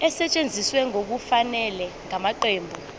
esetshenziswe ngokungafanele ngamaqembu